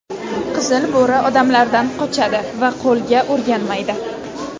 Qizil bo‘ri odamlardan qochadi va qo‘lga o‘rganmaydi.